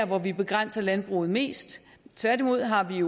hvor vi begrænser landbruget mest tværtimod har vi